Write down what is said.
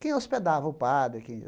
Quem hospedava o padre